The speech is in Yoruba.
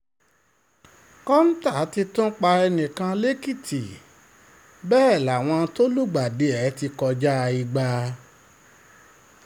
um kọ́ńtà ti tún pa ẹnì kan lẹ́kìtì bẹ́ẹ̀ láwọn um tó lùgbàdì ẹ̀ ti kọjá igba